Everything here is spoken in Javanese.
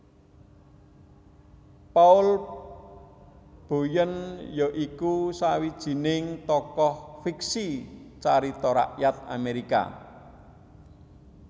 Paul Bunyan ya iku sawijining tokoh fiksi carita rakyat Amerika